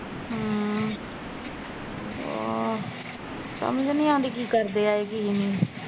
ਆਹ ਸਮਝ ਨੀ ਆਉਂਦੀ ਕੀ ਕਰਦੇ ਆ ਏਹ ਕੀ ਨਹੀਂ